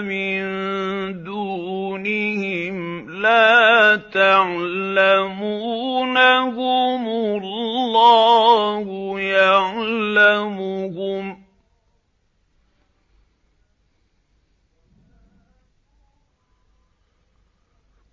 مِن دُونِهِمْ لَا تَعْلَمُونَهُمُ اللَّهُ يَعْلَمُهُمْ ۚ